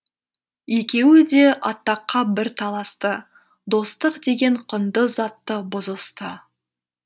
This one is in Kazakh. екеуі де атаққа бір таласты достық деген құнды затты бұзысты